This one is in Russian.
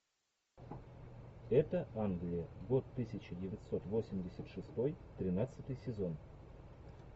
это англия год тысяча девятьсот восемьдесят шестой тринадцатый сезон